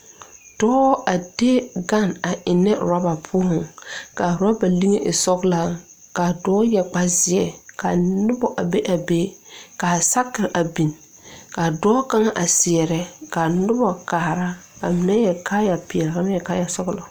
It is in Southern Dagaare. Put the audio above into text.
Dɔɔ a de gane a eŋnɛ orɔba poɔŋ k,a orɔba liŋe a e sɔglaa k,a dɔɛ yɛre kparezeɛ ka noba a be a be ka sakere a biŋ ka dɔɔ kaŋ a seɛrɛ ka noba kaara ka mine yɛre kaayapeɛle ka mine yɛre kaayasɔglɔ.